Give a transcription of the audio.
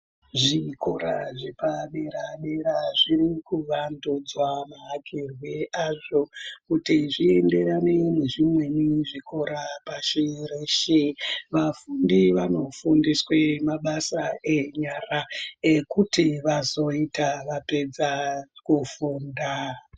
Zvikora zvepadera-dera zvirikuvandudzwa mavakirwe azvo kuti zvienderane nezvimweni zvikora pashi reshe. Vafundi vanofundiswe mabasa enyara ekuti vazoita vapedza kufunda.